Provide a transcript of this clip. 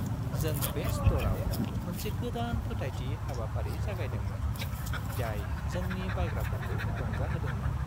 जों बे स्ट'रआव मोनसे गोदान फोथायथि हाबाफारि जागायदोंमोन, जाय जोंनि बायग्राफोरखौ रंजाहोदोंमोन।